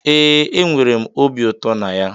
Ee, enwere m obi ụtọ na ya